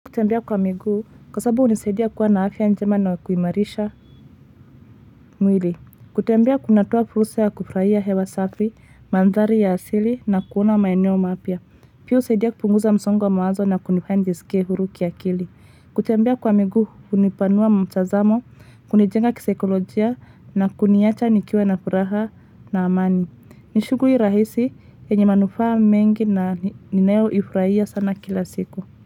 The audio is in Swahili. Kutembea kwa miguu, kwa sababu hunisaidia kuwa na afya njema na kuhimarisha mwili. Kutembea kunatoa fursa ya kufurahia hewa safi, mandhari ya asili na kuona maeneo mapya. Pia husaidia kupunguza msongo wa mawazo na kunifanya njisikie huru kiakili. Kutembea kwa miguu, hunipanua mtazamo, kunijenga kisaikolojia na kuniacha nikiwa na furaha na amani. Ni shuguli rahisi yenye manufaa mengi na ninayo ifurahia sana kila siku.